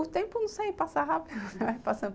O tempo, não sei, passa rápido.